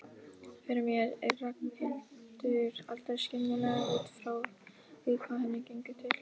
Fyrir mér er Ragnhildur aldrei skiljanleg út frá því hvað henni gengur til.